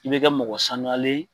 I bɛ kɛ mɔgɔ sanuyalen